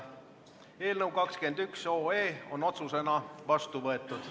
Eelnõu 21 on otsusena vastu võetud.